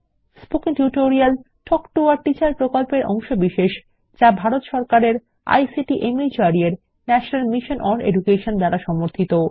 spoken tutorial talk to a teacher প্রকল্পের অংশবিশেষ যা ভারত সরকারের আইসিটি মাহর্দ এর ন্যাশনাল মিশন ওন এডুকেশন দ্বারা সমর্থিত